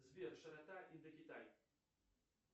сбер широта индокитай